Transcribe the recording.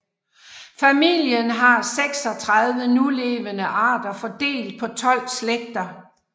Familien har 36 nulevende arter fordelt på 12 slægter